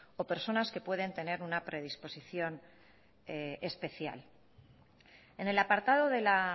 o personas que pueden tener una predisposición especial en el apartado de la